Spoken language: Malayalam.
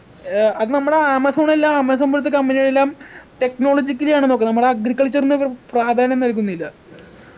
ഏർ അത് നമ്മുടെ ആമസോണല്ല ആമസോൺ പോലത്തെ company കളെല്ലാം technologically ആണ് നോക്കുന്ന് നമ്മൾ agriculture നൊക്കെ പ്രാധാന്യം നൽകുന്നില്ല